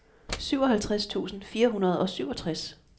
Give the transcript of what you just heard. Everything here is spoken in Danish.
syvoghalvtreds tusind fire hundrede og syvogtres